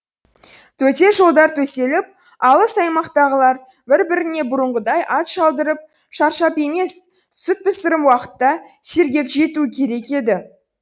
төте жолдар төселіп алыс аймақтағылар бір біріне бұрынғыдай ат шалдырып шаршап емес сүт пісірім уақытта сергек жетуі керек еді